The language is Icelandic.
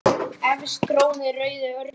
Efst trónir rauði örninn.